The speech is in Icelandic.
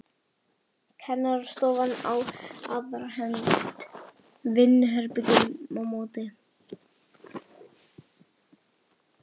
Kennarastofan á aðra hönd, vinnuherbergi á móti.